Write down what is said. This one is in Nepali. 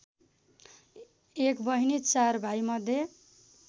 एक बहिनी ४ भाइमध्ये